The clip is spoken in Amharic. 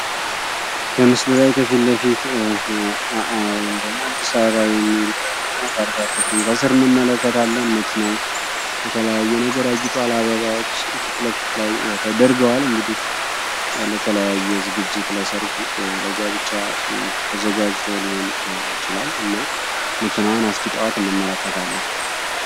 በምስሉ ላይ ከፊትለፊት አ.አ ወይም ደግሞ አዲስ አበባ የሚል እና ታርጋ ቁጥሩን ከስር እንመለከታለን። መኪናው በተለያየ ነገር አጊጥዋል፤ አበባዎች ፊትለፊት ላይ ተደርገዋል እንግዲህ ለተለያየ ዝግጅት ለሰርግ፣ ለጋብቻ ተዘጋጅቶ ሊሆን ይችላል። እና መኪናዋን አስጊጠዋት እንመለከታለን።